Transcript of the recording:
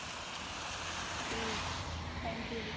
ਠੀਕ ਐ thank you ਜੀ